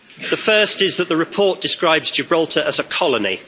The first is that the report describes Gibraltar as a colony.